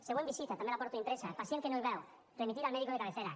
següent visita també la porto impresa pacient que no hi veu remitir al médico de cabecera